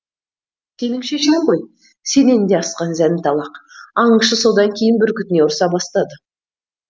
сенің шешең ғой сенен де асқан зәнталақ аңшы содан кейін бүркітіне ұрса бастады